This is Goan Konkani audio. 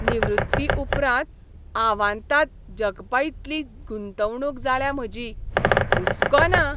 निवृत्ती उपरांत आवांताद जगपाइतली गुंतवणूक जाल्या म्हजी, हुस्को ना.